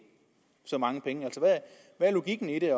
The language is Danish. så mange penge altså hvad er logikken i det er